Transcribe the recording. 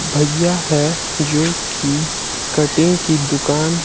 भईया है जोकि कटिंग की दुकान--